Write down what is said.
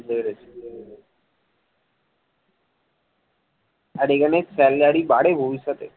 আর এখানে salary বাড়ে ভবিষ্যতে